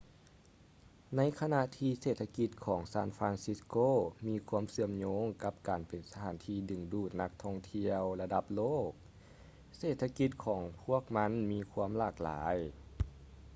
ໃນຂະນະທີ່ເສດຖະກິດຂອງ san francisco ມີຄວາມເຊື່ອມໂຍງກັບການເປັນສະຖານທີ່ດຶງດູດນັກທ່ອງທ່ຽວລະດັບໂລກ ເສດຖະກິດຂອງພວກມັນມີຄວາມຫຼາກຫຼາຍ